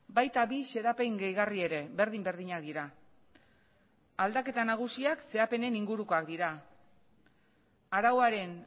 baita bi xedapen gehigarri ere berdin berdinak dira aldaketa nagusiak xedapenen ingurukoak dira arauaren